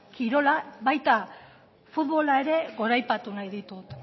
kirola baita futbola ere goraipatu nahi ditut